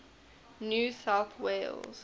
new south wales